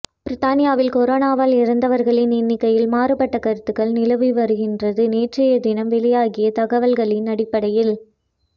பிரித்தானியாவில் கொரோனாவால் இறந்தவர்களின் எண்ணிக்கையில் மாறுபட்ட கருத்துக்கள் நிலாவெவருகின்றது நெற்றியை தினம் வெளியாகிய தகவல்களின் அடிப்படையில்